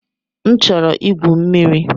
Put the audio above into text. M chọrọ igwu mmiri.